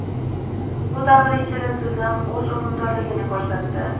Bu davr ichida tizim o‘z unumdorligini ko‘rsatdi.